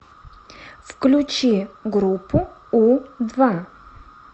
включи группу у два